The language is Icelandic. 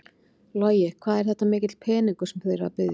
Logi: Hvað er þetta mikill peningur sem þið eruð að biðja um?